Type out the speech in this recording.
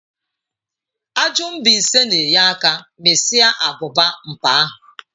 Ajụ mbaise na enye aka mịsịa abụba npa ahu.